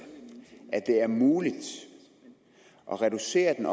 at det er muligt at reducere den